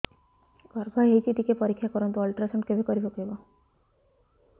ଗର୍ଭ ହେଇଚି ଟିକେ ପରିକ୍ଷା କରନ୍ତୁ ଅଲଟ୍ରାସାଉଣ୍ଡ କେବେ କରିବାକୁ ହବ